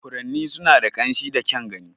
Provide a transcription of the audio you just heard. Furanni suna da ƙamshi da kyan gani.